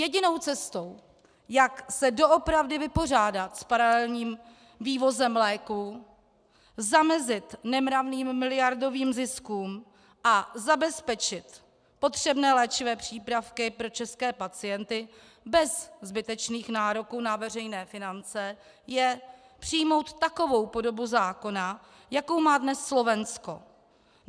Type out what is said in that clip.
Jedinou cestou, jak se doopravdy vypořádat s paralelním vývozem léků, zamezit nemravným miliardovým ziskům a zabezpečit potřebné léčivé přípravky pro české pacienty bez zbytečných nároků na veřejné finance, je přijmout takovou podobu zákona, jakou má dnes Slovensko.